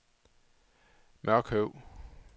Mørkøv